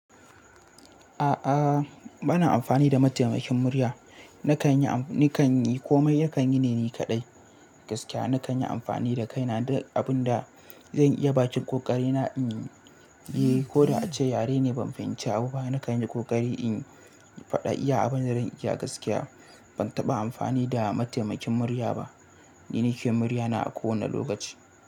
A'a bana amfani da mataimakin murya. Nakan yi komai, yakan yi ne ni kaɗai gaskiya. Nakan yi amfani da kaina duk abunda zan iya bakin kokari na inyi. Ko da ace yare ne ban fahimci abu ba, nakan yi kokari in faɗa iya abin da zan iya gaskiya. Ban taɓa amfani da mataimakin murya ba. Ni nake murya na a kowane lokaci.